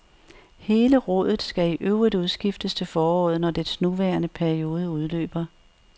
Hele rådet skal i øvrigt udskiftes til foråret, når dets nuværende periode udløber.